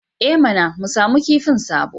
I mana! mu samu kifin sabo